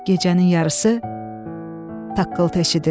Gecənin yarısı taqqıltı eşidildi.